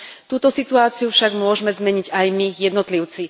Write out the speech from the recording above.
Túto situáciu však môžeme zmeniť aj my jednotlivci.